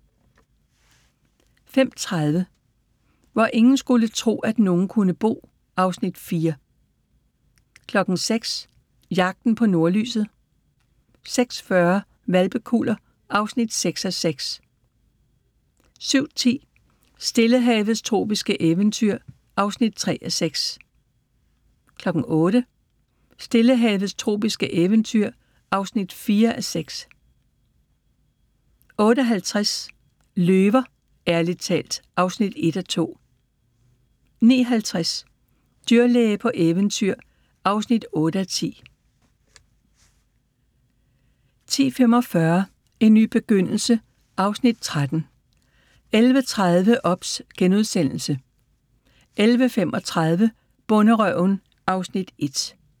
05:30: Hvor ingen skulle tro, at nogen kunne bo (Afs. 4) 06:00: Jagten på nordlyset 06:40: Hvalpekuller (6:6) 07:10: Stillehavets tropiske eventyr (3:6) 08:00: Stillehavets tropiske eventyr (4:6) 08:50: Løver – ærligt talt (1:2) 09:50: Dyrlæge på eventyr (8:10) 10:45: En ny begyndelse (Afs. 13) 11:30: OBS * 11:35: Bonderøven (Afs. 1)